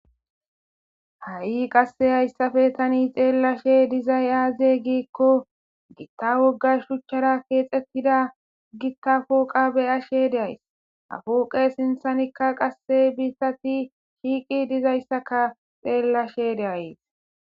Ha"i hayissappe qase tani xelashshe dizayissi aze giikko giitta wogga shuchara kexetida gita poqa beyshshe days ha poqe sinthanikka qase bitazi shiqi dizayissakka xelashshe de'ays